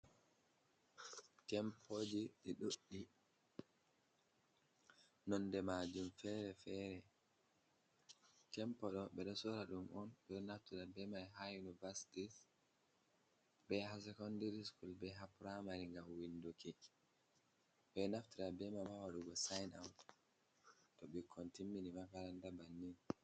Tempoji dï duddi nonde majum fere-fere. Tempoh do bedo sora dum on bedo naftada bemai hi univarsitis be ha secondiri skul be ha pramari gam winduki. Ɓe ɗo naftira bé mai ha sayin awut to bikkon timmini makaranta bannin.